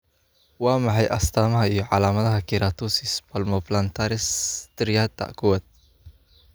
Waa maxay astamaha iyo calaamadaha Keratosis palmoplantaris striata kowad?